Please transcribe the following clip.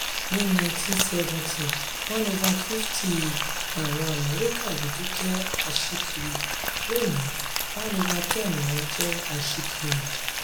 ní nineteen seventy one over fity àwọn amẹ́ríkà dúdú jẹ́ aṣíkiri; lónìí one over ten wọ́n jẹ aṣíkiri.